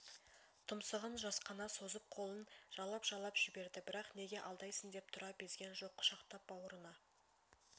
тұмсығын жасқана созып қолын жалап-жалап жіберді бірақ неге алдайсың деп тұра безген жоқ құшақтап бауырына